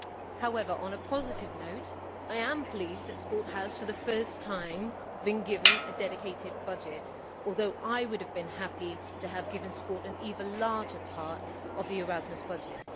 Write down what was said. However, on a positive note, I am pleased that sport has for the first time been given a dedicated budget, although I would have been happy to have given sport an even larger part of the Erasmus budget.